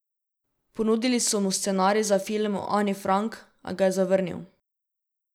Ponudili so mu scenarij za film o Ani Frank, a ga je zavrnil.